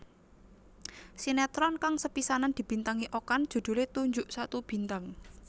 Sinetron kang sepisanan dibintangi Okan judhulé Tunjuk Satu Bintang